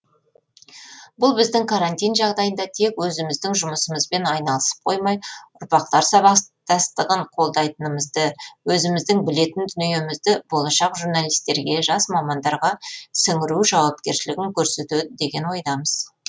бұл біздің карантин жағдайында тек өзіміздің жұмысымызбен айналысып қоймай ұрпақтар сабастастығын қолдайтынымызды өзіміздің білетін дүниемізді болашақ журналистерге жас мамандарға сіңіру жауапкершілігін көрсетеді деген ойдамыз